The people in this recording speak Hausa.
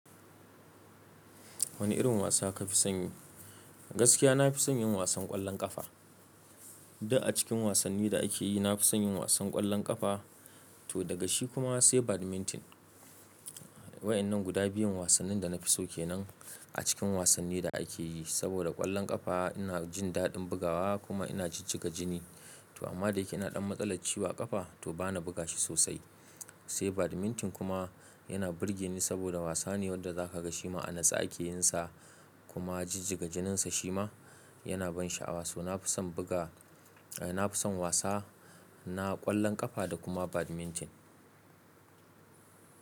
Wani irin wasa kafi son yi? Gaskiya na fi son yin wasan ƙwallon ƙafa. Duk acikin wasanni da akeyi na fi son yin wasan ƙwallon ƙafa to daga shi kuma sai badminton. Wayannan guda biyun wasannin da nafi so kenan a cikin wasanni da akeyi. Saboda ƙwallon ƙafa ina jin daɗin bugawa kuma ina jijjiga jini. To amma dayake ina ɗan matsalar ciwon ƙafa to bana buga shi sosai. Sai badminton kuma yana burge ni saboda wasa ne wanda za kaga shi ma a nutsa akeyin sa kuma jijjiga jininsa shi ma yana ban sha'awa. So nafi son buga, eh nafi son wasa na ƙwallon ƙafa da kuma badminton.